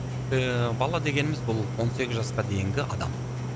ііі бала дегеніміз бұл он сегіз жасқа дейінгі адам